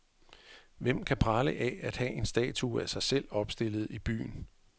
Hvem kan prale af, at have en statue af sig selv opstillet i byen?